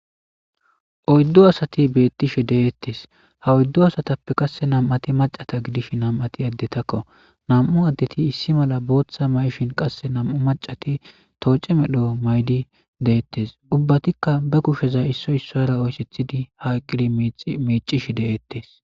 Oydu asati betishe detes ha oydu asatape qase nam'u asati macata gidishin nam'ati adetako mam'u adeti issi mala bootha mayishin qase nam'u macati to e medho mayidi deetes ubbatika ba kusheza issa ISSAra oysethidi ha simidi micishe detes